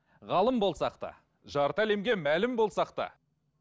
ғалым болсақ та жарты әлемге мәлім болсақ та